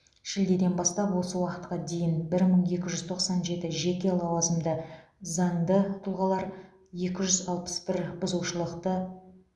шілдеден бастап осы уақытқа дейін бір мың екі жүз тоқсан жеті жеке лауазымды заңды тұлғалар екі жүз алпыс бір бұзушылықты